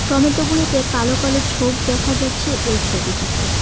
Tomato -গুলিতে কালো কালো ছোপ দেখা যাচ্ছে এই ছবিটিতে।